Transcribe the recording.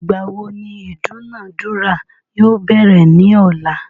Ìgbà wo ni ìdúnadúrà yóò bẹ̀rẹ̀ ní ọ̀la?